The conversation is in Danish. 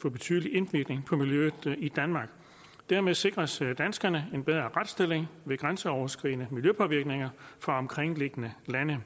få betydelig indvirkning på miljøet i danmark dermed sikres danskerne en bedre retsstilling ved grænseoverskridende miljøpåvirkninger fra omkringliggende lande